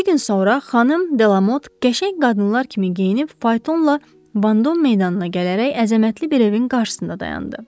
İki gün sonra xanım Delamot qəşəng qadınlar kimi geyinib faytonla Vandom meydanına gələrək əzəmətli bir evin qarşısında dayandı.